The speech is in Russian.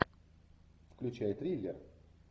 включай триллер